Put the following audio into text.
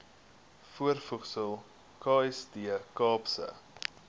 voorvoegsel kst kaapse